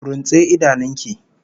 Runtse idanun ki!